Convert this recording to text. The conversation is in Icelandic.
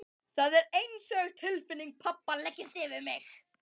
Það er einsog tilfinning pabba leggist yfir mig.